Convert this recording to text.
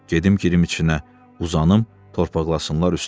Gedim girim içinə, uzanım, torpaqlasınlar üstümü.